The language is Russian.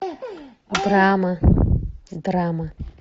драма драма